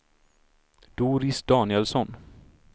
Doris Danielsson